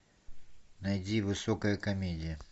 найди высокая комедия